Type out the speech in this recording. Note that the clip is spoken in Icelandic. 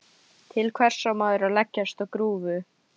Til hvers á maður að leggjast á grúfu?